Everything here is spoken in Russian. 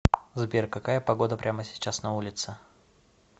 сбер какая погода прямо сейчас на улице